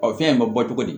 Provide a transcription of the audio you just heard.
O fɛn in bɛ bɔ cogo di